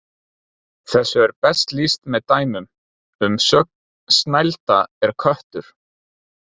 Þessu er best lýst með dæmum: Umsögn: Snælda er köttur